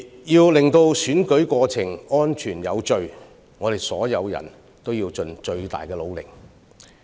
要確保選舉過程安全有序，我們所有人必須盡最大努力。